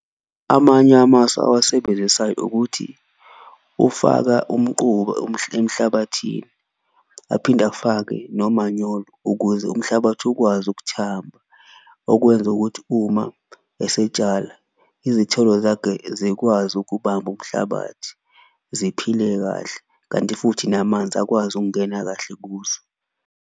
Amanye amasu owasebenzisayo ukuthi ufaka umquba emhlabathini aphinde afake nomanyolo ukuze umhlabathi ukwazi ukuthamba, okwenza ukuthi uma esetshala izithelo zakhe zikwazi ukubamba umhlabathi, ziphile kahle kanti futhi namanzi akwazi ukungena kahle kuzo.